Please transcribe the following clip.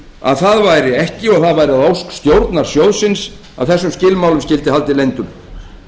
að það væri ekki og það væri að ósk stjórnar sjóðsins að þessum skilmálum skyldi haldið leyndum